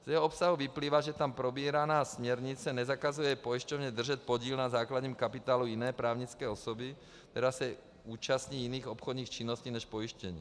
Z jeho obsahu vyplývá, že tam probíraná směrnice nezakazuje pojišťovně držet podíl na základním kapitálu jiné právnické osoby, která se účastní jiných obchodních činností než pojištění.